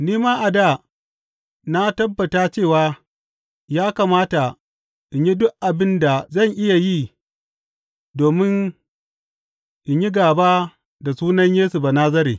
Ni ma a dā na tabbata cewa ya kamata in yi duk abin da zan iya yi domin in yi gāba da sunan Yesu Banazare.